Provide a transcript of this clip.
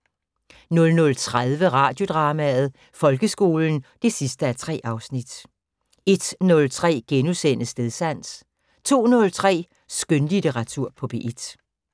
00:30: Radiodrama: Folkeskolen 3:3 01:03: Stedsans * 02:03: Skønlitteratur på P1